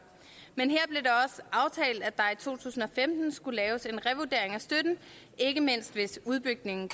men i to tusind og femten skulle laves en revurdering af støtten ikke mindst hvis udbygningen